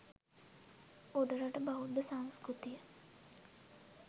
උඩරට බෙෳද්ධ සංස්කෘතිය